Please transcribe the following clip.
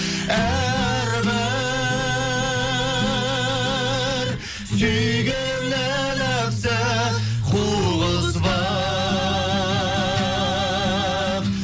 әрбір сүйгенін нәпсі қуғызбақ